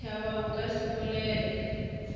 tšhaba o ka se bolele